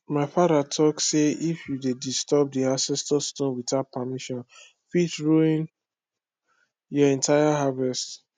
my father talk say if you dey disturb the ancestor stone without permission fit ruin your entire harvest